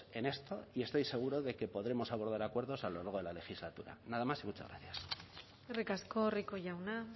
en esto y estoy seguro de que podremos abordar acuerdos a lo largo de la legislatura nada más y muchas gracias eskerrik asko rico jauna